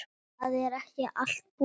Það er ekki allt búið.